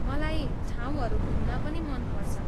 मलाई ठाउँहरू घुम्न पनि मन पर्छ।